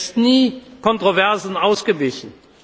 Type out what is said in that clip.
Er ist nie Kontroversen ausgewichen.